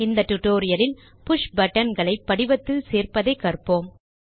இந்த டியூட்டோரியல் இல் push button களை படிவத்தில் சேர்ப்பதை கற்போம்